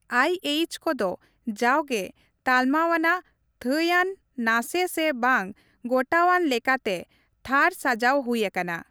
ᱟᱭ ᱮᱭᱤᱪ ᱠᱚᱫᱚ ᱡᱟᱣᱜᱮ ᱛᱟᱞᱢᱟᱣᱟᱱᱟᱜ/ᱛᱷᱟᱹᱭᱟᱱ, ᱱᱟᱥᱮ ᱥᱮ ᱵᱟᱝ ᱜᱚᱴᱟᱣᱟᱱ ᱞᱮᱠᱟᱛᱮ ᱛᱷᱟᱨ ᱥᱟᱡᱟᱣ ᱦᱩᱭ ᱟᱠᱟᱱᱟ ᱾